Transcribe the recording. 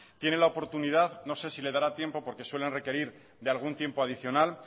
tiene la oportunidad no sé si le dará tiempo porque suelen requerir de algún tiempo adicional